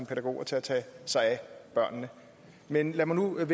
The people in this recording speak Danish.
pædagoger til at tage sig af børnene men lad mig nu